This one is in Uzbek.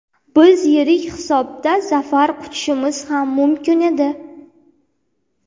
Biz yirik hisobda zafar quchishimiz ham mumkin edi.